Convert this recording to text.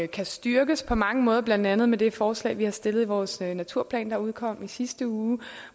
kan styrkes på mange måder blandt andet med det forslag vi har stillet i vores naturplan der udkom i sidste uge